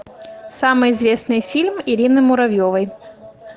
самый известный фильм ирины муравьевой